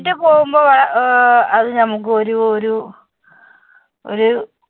ആയിട്ട് പോകുമ്പോൾ ആഹ് അത് നമുക്ക് ഒരു ഒരു ഒരു